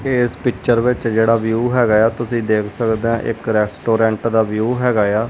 ਏਸ ਪਿਕਚਰ ਵਿੱਚ ਜਿਹੜਾ ਵਿਊ ਹੈਗਾ ਆ ਤੁਸੀਂ ਦੇਖ ਸਕਦੇ ਅ ਇੱਕ ਰੈਸਟੋਰੈਂਟ ਦਾ ਵਿਊ ਹੈਗਾ ਆ।